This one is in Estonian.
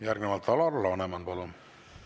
Järgnevalt Alar Laneman, palun!